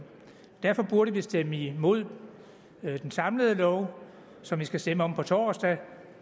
derfor burde vi stemme imod den samlede lov som vi skal stemme om på torsdag